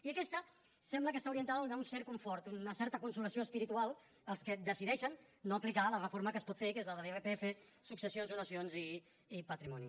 i aquesta sembla que està orientada a donar un cert confort una certa consolació espiritual als que decideixen no aplicar la reforma que es pot fer que és la de l’irpf successions donacions i patrimoni